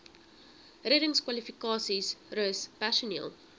reddingskwalifikasies rus personeel